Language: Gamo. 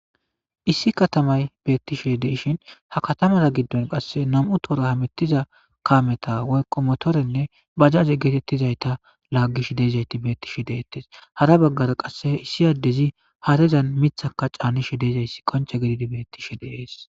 Issi katamay betishe des ha katamaza gidon qase nam'u tora hamutiza kameta woyko motoretanne bajaje getetizata lagishe de'zayti betishe detes hara bagara qsse issi adezi harezan mithaka canishin kache betese